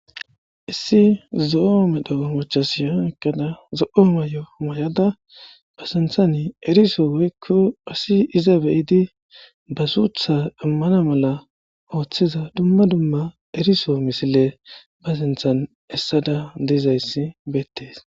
Issi zo'o medho macasiya eqada zo'o mayo mayada ba sinthan eriso woyko asi iza be'idi ba sutha iman mala othiza dumma dumma eriso misile bs sinthan esada dizaysi betes